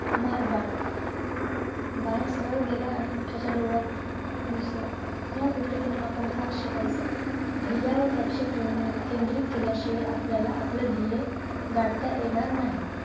मार बाण बाण सरळ गेला आणि त्याच्या डोळ्यात घुसला या गोष्टीतून आपण काय शिकयच धैयावर लक्ष केंद्रित केल्या शिवाय आपल्याला आपलं ध्येय गाठता येणार नाही